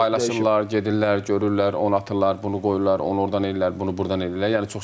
Paylaşırlar, gedirlər, görürlər, onu atırlar, bunu qoyurlar, onu ordan eləyirlər, bunu burdan eləyirlər.